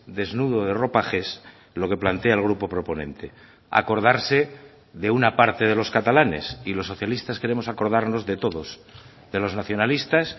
desnudo de ropajes lo que plantea el grupo proponente acordarse de una parte de los catalanes y los socialistas queremos acordarnos de todos de los nacionalistas